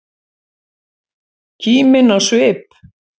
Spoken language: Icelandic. Kímin á svip.